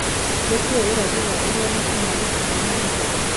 ni kĩĩ ũrathi wa uria matu maguikara ũmũthĩ